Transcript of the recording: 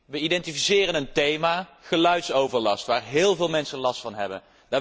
Wij identificeren een thema, geluidsoverlast, waar heel veel mensen last van hebben.